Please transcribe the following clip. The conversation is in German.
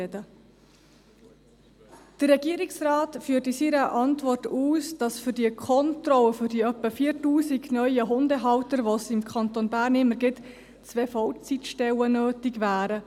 Der Regierungsrat führt in seiner Antwort aus, dass für die Kontrolle der etwa 4000 neuen Hundehalter, die es im Kanton Bern immer gibt, zwei Vollzeitstellen nötig wären.